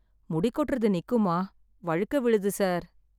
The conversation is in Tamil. முடி கொட்டுறது நிக்குமா? வழுக்கை விழுது சார்.